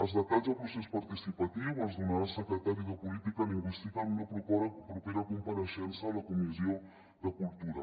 els detalls del procés participatiu els donarà el secretari de política lingüística en una propera compareixença a la comissió de cultura